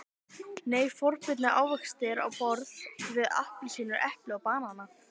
Nei, forboðnir ávextir á borð við appelsínur, epli og banana.